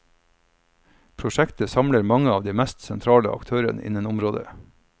Prosjektet samler mange av de mest sentrale aktørene innen området.